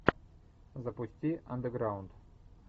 запусти андеграунд